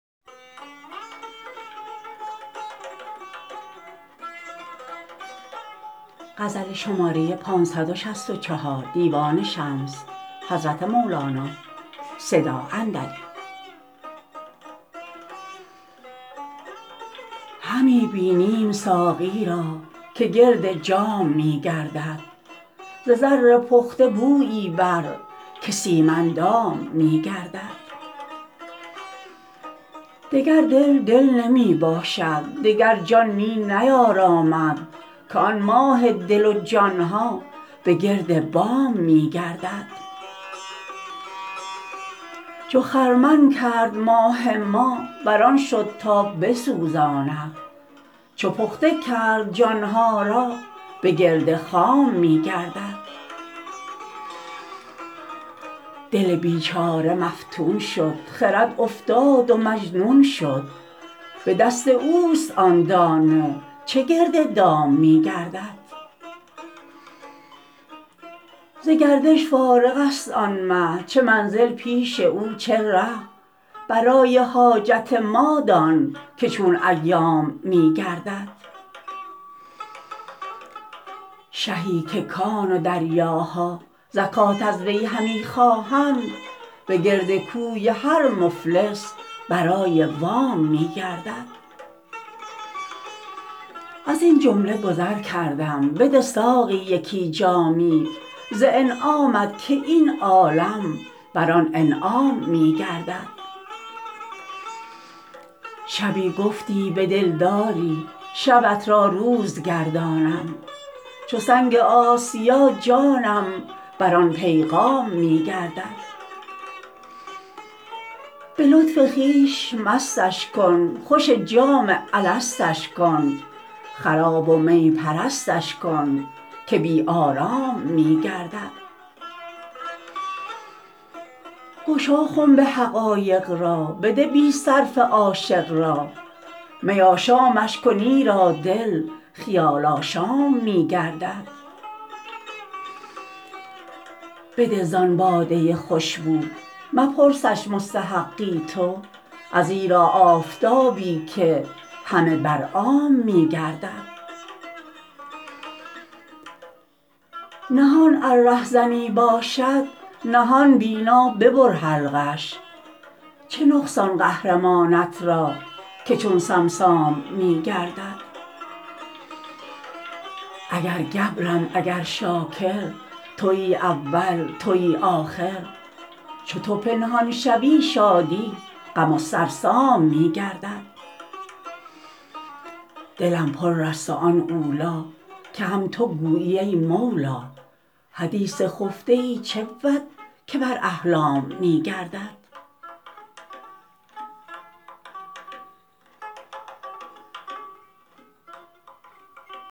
همی بینیم ساقی را که گرد جام می گردد ز زر پخته بویی بر که سیم اندام می گردد دگر دل دل نمی باشد دگر جان می نیارامد که آن ماه دل و جان ها به گرد بام می گردد چو خرمن کرد ماه ما بر آن شد تا بسوزاند چو پخته کرد جان ها را به گرد خام می گردد دل بیچاره مفتون شد خرد افتاد و مجنون شد به دست اوست آن دانه چه گرد دام می گردد ز گردش فارغ است آن مه چه منزل پیش او چه ره برای حاجت ما دان که چون ایام می گردد شهی که کان و دریاها زکات از وی همی خواهند به گرد کوی هر مفلس برای وام می گردد از این جمله گذر کردم بده ساقی یکی جامی ز انعامت که این عالم بر آن انعام می گردد شبی گفتی به دلدار ی شبت را روز گردانم چو سنگ آسیا جانم بر آن پیغام می گردد به لطف خویش مستش کن خوش جام الستش کن خراب و می پرستش کن که بی آرام می گردد گشا خنب حقایق را بده بی صرفه عاشق را می آشامش کن ایرا دل خیال آشام می گردد بده زان باده خوشبو مپرسش مستحقی تو ازیرا آفتابی که همه بر عام می گردد نهان ار رهزنی باشد نهان بینا ببر حلقش چه نقصان قهرمانت را که چون صمصام می گردد اگر گبرم اگر شاکر توی اول توی آخر چو تو پنهان شوی شادی غم و سرسام می گردد دلم پرست و آن اولی که هم تو گویی ای مولی حدیث خفته ای چه بود که بر احلام می گردد